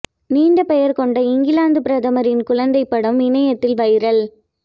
நீண்ட பெயர் கொண்ட இங்கிலாந்து பிரதமரின் குழந்தை படம் இணையத்தில் வைரல்